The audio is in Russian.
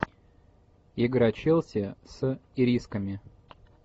игра челси с ирисками